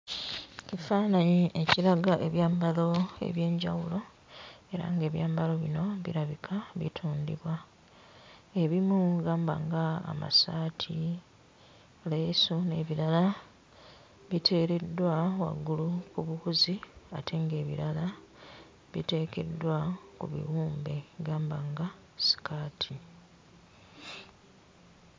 Kifaananyi kiraga ebyambalo eby'enjawulo, era nga ebyambalo bino birabika bitundibwa. Ebimu gamba nga amasaati, leesu n'ebirala biteereddwa waggulu ku buwuzi ate ng'ebirala biteekeddwa ku bibumbe gamba nga sikaati.